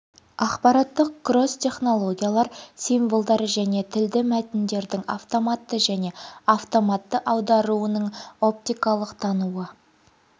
ақпараттық кросс технологиялар символдар мен тілді мәтіндердің автоматты және автоматты аударуының оптикалық тануы